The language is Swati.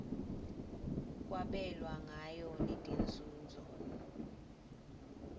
kwabelwa ngayo netinzunzo